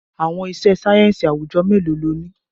Àwọn iṣẹ́ sáyẹ́ǹsì àwùjọ mélòó lo ní?